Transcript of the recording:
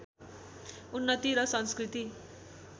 उन्नति र संस्कृति